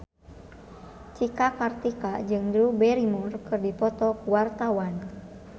Cika Kartika jeung Drew Barrymore keur dipoto ku wartawan